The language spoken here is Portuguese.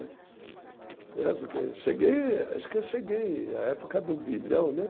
É porque cheguei, acho que eu cheguei à época do bilhão, né?